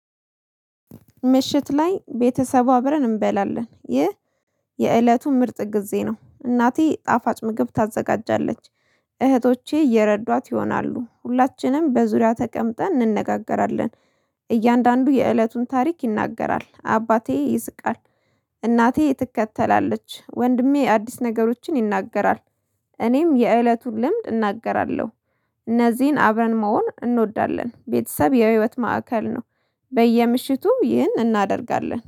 ምሽት ላይ ቤተሰቡ አብረን እንበላለን። ይህ የእለቱ ምርጥ ጊዜ ነው። እናቴ ጣፋጭ ምግብ ታዘጋጃለች። እህቶቼ እየረዷት ይሆናሉ። ሁላችንም በዙሪያ ተቀምጠን እንነጋገራለን። እያንዳንዱ የእለቱን ታሪክ ይናገራል። አባቴ ይስቃል፤ እናቴ ትከተላለች፤ ወንድሜ አዲስ ነገሮችን ይናገራል፤ እኔም የእለቱን ልምድ እናገራለሁ። እነዚህን አብረን መሆን እንወዳለን። ቤተሰብ የህይወት ማዕከል ነው። በየምሽቱ ይህን እናደርጋለን